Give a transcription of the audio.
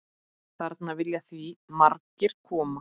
Þarna vilja því margir koma.